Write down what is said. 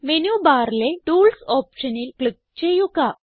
menu ബാറിലെ tools ഓപ്ഷനിൽ click ചെയ്യുക